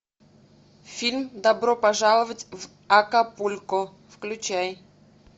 фильм добро пожаловать в акапулько включай